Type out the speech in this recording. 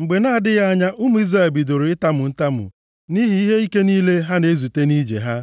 Mgbe na-adịghị anya ụmụ Izrel bidoro itamu ntamu nʼihi ihe ike niile ha na-ezute nʼije ha.